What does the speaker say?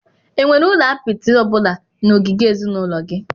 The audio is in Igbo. Enwere ụlọ apịtị ọ bụla na ogige ezinụlọ gị?